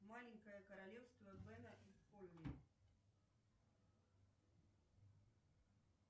маленькое королевство бена и холли